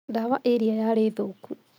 Ndawa ĩrĩa yarĩ thũku